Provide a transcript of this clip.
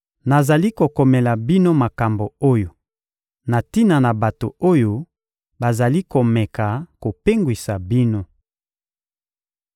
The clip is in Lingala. Nazali kokomela bino makambo oyo na tina na bato oyo bazali komeka kopengwisa bino.